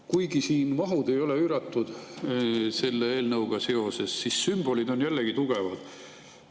Kuigi mahud selle eelnõuga seoses ei ole üüratud, siis sümbolid on jällegi tugevad.